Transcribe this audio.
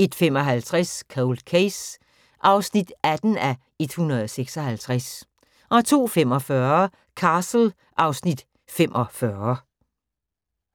01:55: Cold Case (18:156) 02:45: Castle (Afs. 45)